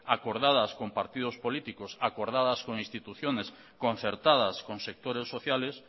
acordadas con partidos políticos acordadas con instituciones concertadas con sectores sociales